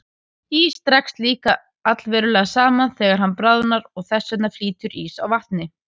Ís dregst líka allverulega saman þegar hann bráðnar og þess vegna flýtur ís á vatni.